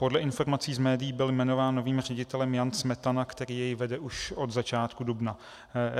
Podle informací z médií byl jmenován novým ředitelem Jan Smetana, který jej vede už od začátku dubna.